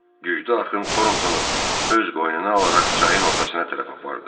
Güclü axın Torntonu öz qoynuna alaraq çayın ortasına tərəf apardı.